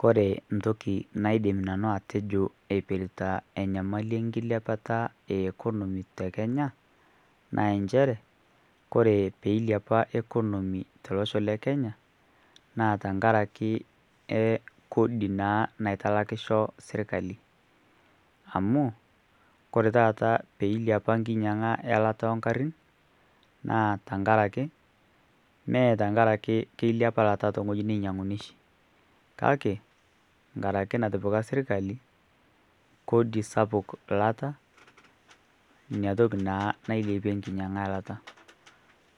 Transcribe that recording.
Kore ntoki naidim nanu atejo eipirta enyamali e nkilepata e economy te Kenya naa enchere kore peilepa economy to losho le Kenya naa tankaraki ekodi naa naitalaikisho sirkali amu kore taata peilepa nkinyiang'a e lata oo nkarrin naa tankaraki mee tankaraki keilepa lata tong'oji neinyang'unyieki kake nkaraki natipika sirkali kodi sapuk lata niatoki naa nailepie nkinyang'a e lata